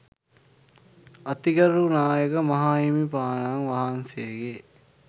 අතිගරු නායක මාහිමිපාණන් වහන්සේගේ